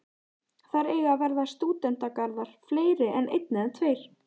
Þar eiga að verða stúdentagarðar, fleiri en einn eða tveir.